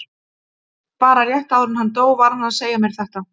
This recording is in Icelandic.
Bara rétt áður en hann dó var hann að segja mér þetta.